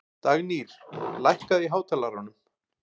Dagnýr, lækkaðu í hátalaranum.